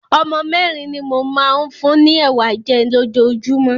Ọmọ mẹ́rin ni mo máa ń fún ni Ẹ̀wà jẹ́ lójoojúmọ́.